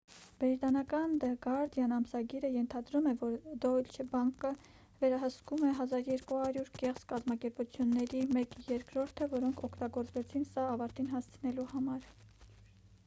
բրիտանական դը գարդիան ամսագիրը ենթադրում է որ դոյչե բանկը վերահսկում էր 1200 կեղծ կազմակերպությունների մեկ երրորդը որոնք օգտագործվեցին սա ավարտին հասցնելու համար